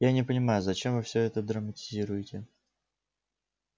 я не понимаю зачем вы всё это драматизируете